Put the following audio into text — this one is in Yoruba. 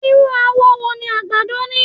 Irú àwọ̀ wo ni àgbàdo ni?